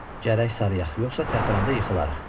Gərək sarıyaq, yoxsa tərpələndə yıxılarıq.